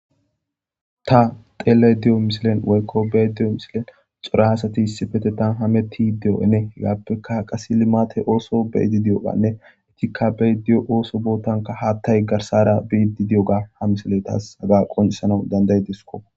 Ta xeeley di'o misilen woykkobee diyo misilen xura haasati issifete tan hametti di'o'ene hegaappeka qasi limate ooso beidi di7oganne itikka bediyo ooso bootanka haattay garsara biidi di7oga ha misiley taas haga qonisana danday disko.